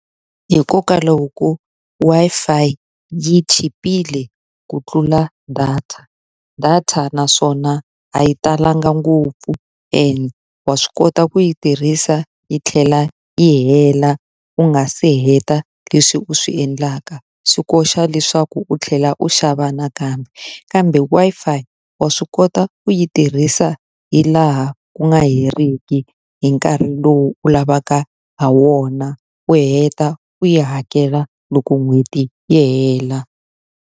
Hikokwalaho ko Wi-Fi yi chipile ku tlula data. Data naswona a yi talanga ngopfu and wa swi kota ku yi tirhisa yi tlhela yi hela u nga se heta leswi u swi endlaka, swi koxa leswaku u tlhela u xava nakambe. Kambe Wi-Fi wa swi kota ku yi tirhisa hi laha ku nga heriki hi nkarhi lowu u lavaka ha wona, u heta u yi hakela loko n'hweti yi hela.